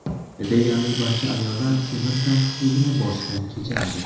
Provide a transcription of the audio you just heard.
Deyarli barcha ayollar temir tanqisligini boshdan kechiradi.